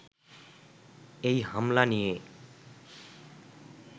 এই হামলা নিয়ে